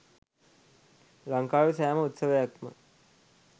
ලංකාවේ සෑම උත්සවයක්ම